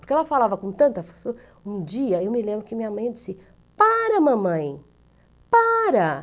Porque ela falava com tanta... Um dia, eu me lembro que minha mãe disse, para, mamãe, para.